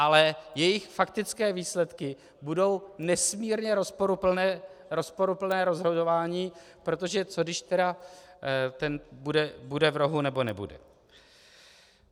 Ale jejich faktické výsledky budou nesmírně rozporuplné rozhodování, protože co když tedy ten bude v rohu nebo nebude.